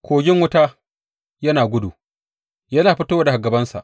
Kogin wuta yana gudu, yana fitowa daga gabansa.